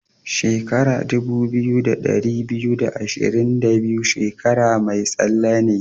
Shekara dubu biyu da ɗari biyu da ashirin da biyu shekara mai tsalle ne.